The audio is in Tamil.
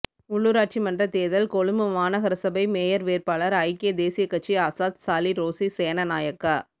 உள்ளூராட்சி மன்றத் தேர்தல் கொழும்பு மாநகரசபை மேயர் வேட்பாளர் ஐக்கிய தேசியக்கட்சி அசாத் சாலி ரோஸி சேநானாயக்க